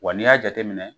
Wa n'i y'a jateminɛ